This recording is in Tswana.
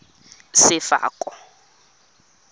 sefako